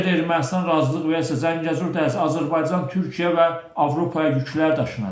Əgər Ermənistan razılıq versə Zəngəzur dəhlizi Azərbaycan, Türkiyə və Avropaya yüklər daşınacaq.